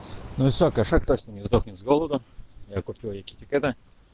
ну все кошак точно не сдохнет с голоду я купил ей китикэта